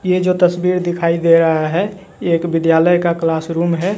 ये जो तस्वीर दिखाई दे रहा है ये एक विद्यालय का क्लास रूम है।